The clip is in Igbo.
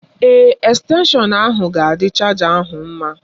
Èè, estenshọn ahụ ga-adị chaja ahụ mma.